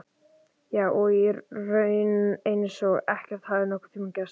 Já, og í raun eins og ekkert hafi nokkurntíma gerst.